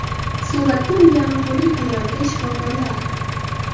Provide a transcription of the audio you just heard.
Suratda unga g‘amxo‘rlik qilayotgan shifokorlar.